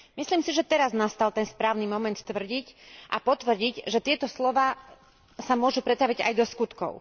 Myslím si, že teraz nastal ten správny moment tvrdiť a potvrdiť, že tieto slová sa môžu pretaviť aj do skutkov.